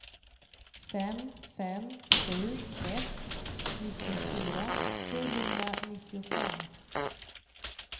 fem fem sju ett nittiofyra sjuhundranittiofem